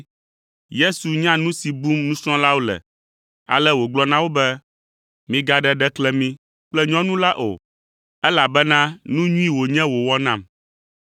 Yesu nya nu si bum nusrɔ̃lawo le, ale wògblɔ na wo be, “Migaɖe ɖeklemi kple nyɔnu la o, elabena nu nyui wònye wòwɔ nam.